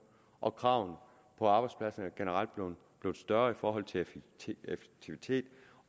og kravene på arbejdspladsen er generelt blevet større i forhold til effektivitet og